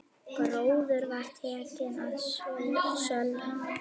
Gróður var tekinn að sölna.